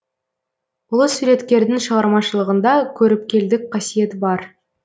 ұлы суреткердің шығармашылығында көріпкелдік қасиет бар